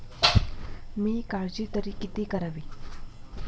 मी काळजी तरी किती करावी.